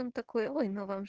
он такой